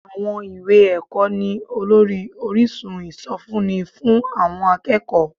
Àwọn ìwé ẹ̀kọ́ ni olórí orísun ìsọfúnni fún àwọn akẹ́kọ̀ọ́